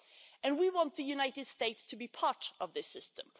And we want the United States to be part of this system.